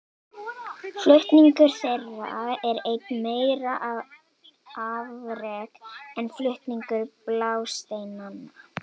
Flutningur þeirra er enn meira afrek en flutningur blásteinanna.